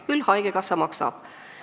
Küll haigekassa maksab.